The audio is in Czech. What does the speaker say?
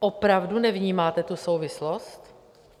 Opravdu nevnímáte tu souvislost?